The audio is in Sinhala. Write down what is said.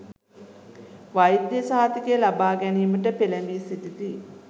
වෛද්‍ය සහතික ලබා ගැනීමට පෙළැඹී සිටිති.